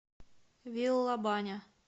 виллабаня